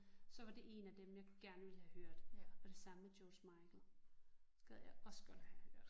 Så var det en af dem jeg gerne ville have hørt og det samme med George Michael gad jeg også godt have hørt